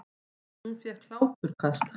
Hún fékk hláturkast.